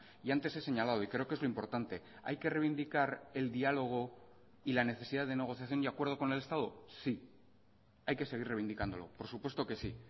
y antes he señalado y creo que es lo importante hay que reivindicar el diálogo y la necesidad de negociación y acuerdo con el estado sí hay que seguir reivindicándolo por supuesto que sí